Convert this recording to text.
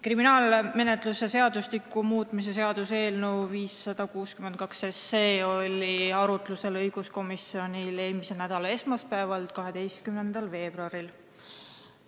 Kriminaalmenetluse seadustiku muutmise seaduse eelnõu 562 oli õiguskomisjonis arutlusel eelmise nädala esmaspäeval, 12. veebruaril.